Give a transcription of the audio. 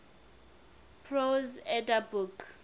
prose edda book